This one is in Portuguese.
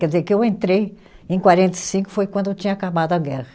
Quer dizer que eu entrei em quarenta e cinco, foi quando tinha acabado a guerra.